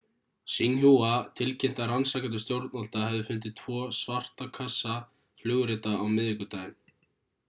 xinhua tilkynnti að rannsakendur stjórnvalda hefðu fundið tvo ,svarta kassa'/flugrita á miðvikudaginn